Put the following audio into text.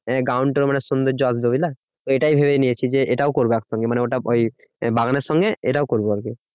Ground টাও মানে সৌন্দর্য আসবে বুঝলে এইটাই ভেবে নিয়েছি যে, এটাও করবো একসঙ্গে। মানে ওটা ওই বাগানের সঙ্গে এটাও করবো আরকি।